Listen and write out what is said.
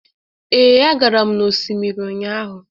ee, agaram n'osimiri ụnyahụ